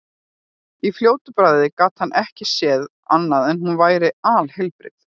Í fljótu bragði gat hann ekki séð annað en hún væri alheilbrigð.